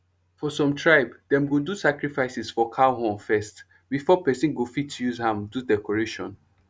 for some tribe dem go do sacrifices for cow horn first before person go fit use am do decoration